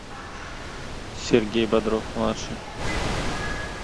сергей бодров младший